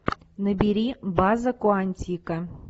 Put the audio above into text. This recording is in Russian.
набери база куантико